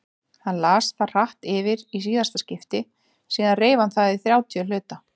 Hann las það hratt yfir í síðasta skipti, síðan reif hann það í þrjátíu hluta.